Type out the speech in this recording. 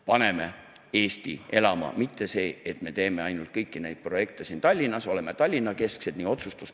" Paneme Eesti elama, ärme teeme kõiki neid projekte ainult siin, Tallinnas, Tallinna-keskselt!